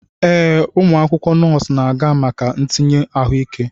Ee, ụmụ akwụkwọ nọọsụ na-aga maka ntinye ahụike.